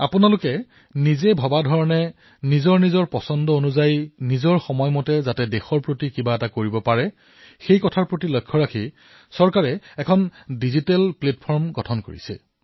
আপোনালোকে নিজৰ ভাৱনাৰ অনুৰূপ দেশৰ বাবে নিজৰ ৰুচিৰ হিচাপত নিজৰ সময় অনুসাৰে কিবা এটা যাতে কৰিব পাৰে ইয়াৰ বাবে চৰকাৰে এক ডিজিটেল প্লেটফৰ্মো প্ৰস্তুত কৰিছে